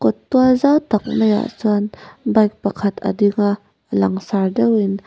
awt tual zau tak maiah chuan bike pakhat a ding a langsar deuhin.